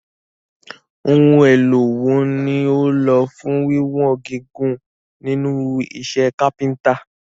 Ohun èlò wo ni o lò fún wíwọn gígùn nínú iṣẹ́ kápẹ́ntà?